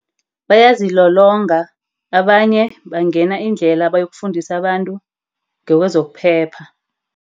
Bayazilolonga. Abanye bangena iindlela bayokufundisa abantu ngekwezokuphepha.